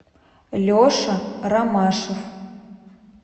леша ромашев